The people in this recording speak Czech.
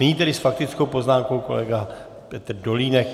Nyní tedy s faktickou poznámkou kolega Petr Dolínek.